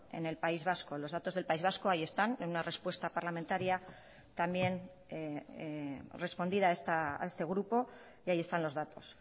en el país vasco los datos del país vasco ahí están en una respuesta parlamentaria también respondida a este grupo y ahí están los datos